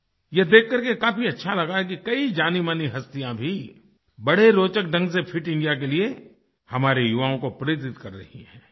यह देख करके काफ़ी अच्छा लगा कि कई जानीमानी हस्तियाँ भी बड़े रोचक ढ़ंग से फिट इंडिया के लिए हमारे युवाओं को प्रेरित कर रही हैं